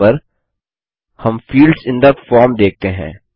दायीं ओर पर हम फील्ड्स इन थे फॉर्म देखते हैं